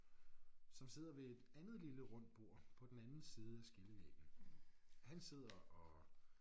Som sidder ved et andet lille rundt bord på den anden side af skillevæggen. Han sidder og